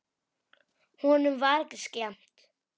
Honum var ekki skemmt.